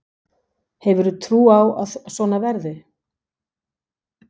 Hefur þú trú á að svo verði?